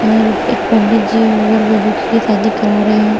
और एक पंडित जी वर वधू की शादी करा रहे हैं।